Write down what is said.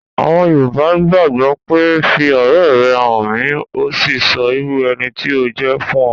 Àwọn yoòbá gbàgbọ̀ pé 'fi ọ̀rẹ́ rẹ hàn mí ùn o sì sọ irú ẹni tí o jẹ́ fún ọ'